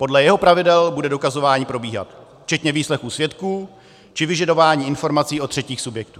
Podle jeho pravidel bude dokazování probíhat, včetně výslechů svědků či vyžadování informací od třetích subjektů.